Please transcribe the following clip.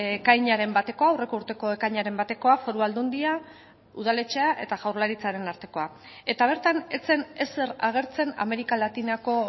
ekainaren bateko aurreko urteko ekainaren batekoa foru aldundia udaletxea eta jaurlaritzaren artekoa eta bertan ez zen ezer agertzen amerika latinako